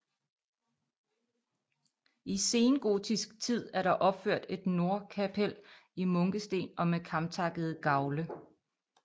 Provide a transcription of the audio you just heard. I sengotisk tid er der opført et nordkapel i munkesten og med kamtakkede gavle